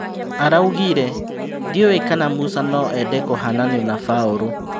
Araugire, "Ndiũĩ kana Musa noende kũhananio na Baũrũ"